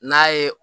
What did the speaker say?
N'a ye